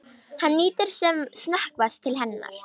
Hann lítur sem snöggvast til hennar.